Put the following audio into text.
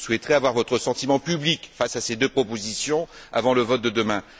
Je souhaiterais avoir votre sentiment public face à ces deux propositions avant le vote de demain.